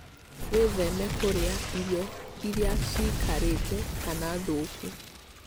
Wĩtheme kũrĩa irio irĩa ciikarĩte kana thũku.